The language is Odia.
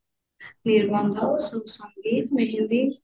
ନିର୍ବନ୍ଧ ସଙ୍ଗୀତ ମେହେନ୍ଦି